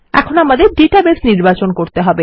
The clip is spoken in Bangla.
এখন আমাদের ডেটাবেস নির্বাচন করতে হবে